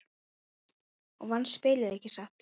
Og vannst spilið, ekki satt?